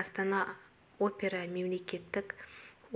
астана опера мемлекеттік